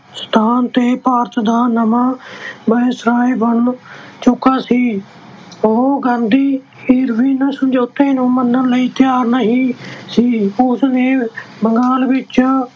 ਸਥਾਨ ਤੇ ਭਾਰਤ ਦਾ ਨਵਾਂ Viceroy ਬਣ ਚੁੱਕਾ ਸੀ ਉਹ ਗਾਂਧੀ Irvin ਸਮਝੌਤੇ ਨੂੰ ਮੰਨਣ ਲਈ ਤਿਆਰ ਨਹੀਂ ਸੀ ਉਸਨੇ ਬੰਗਾਲ ਵਿੱਚ